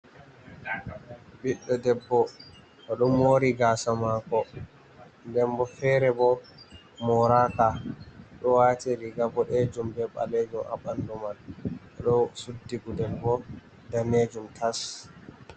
Biddo debbo odo mori gasa mako, ndenbo fere bo moraka, odo wati riga bodejum be balejom a bandu man, odo suddigudelbo danejum tas.